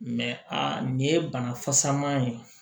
a nin ye bana fasaman ye